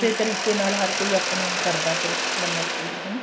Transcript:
ਤਰੀਕੇ ਨਾਲ ਹਰ ਕੋਈ ਆਪਣੇ ਕਰਦਾ ਫਿਰ ਹਰ ਕੋਈ ਮੰਨਤ ਪੂਰੀ ਹਨਾ